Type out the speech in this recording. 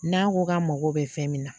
N'a ko k'a mago bɛ fɛn min na